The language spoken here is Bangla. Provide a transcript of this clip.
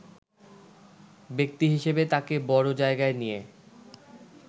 ব্যক্তিহিসেবে তাকে বড় জায়গায় নিয়ে